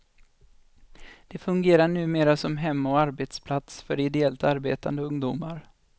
Den fungerar numera som hem och arbetsplats för ideellt arbetande ungdomar.